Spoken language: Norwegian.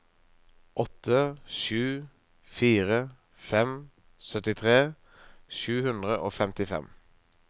åtte sju fire fem syttitre sju hundre og femtifem